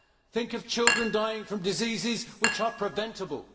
Think of children dying from diseases which are preventable.